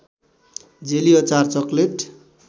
jelly अचार chocolate